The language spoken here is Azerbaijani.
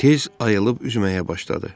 Tez ayılıb üzməyə başladı.